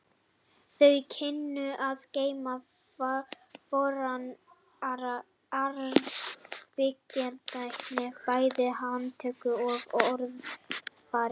Þau kynnu að geyma fornan arf byggræktarinnar bæði í handtökum og orðafari.